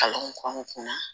Kalan kɔnɔn